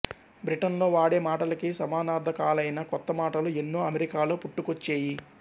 Britain లో వాడే మాటలకి సమానార్ధకాలైన కొత్త మాటలు ఎన్నో అమెరికాలో పుట్టుకొచ్చేయి